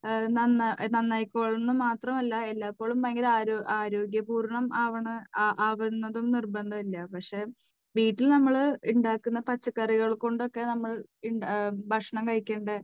നന്നായി കൊള്ളണമെന്ന് മാത്രമല്ല എല്ലായ്‌പ്പോഴും ഭയങ്കര ആരോഗ്യ പൂർണമാകണം എന്ന് നിർബന്ധമില്ല പക്ഷേ വീട്ടിൽ നമ്മൾ ഉണ്ടാക്കുന്ന പച്ചക്കറികൾ കൊണ്ടൊക്കെ നമ്മൾ ഭക്ഷണം കഴിക്കേണ്ടത്